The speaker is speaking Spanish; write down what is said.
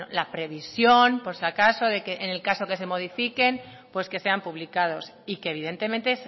la previsión por si acaso de que en el caso de que se modifiquen pues que sean publicados y que evidentemente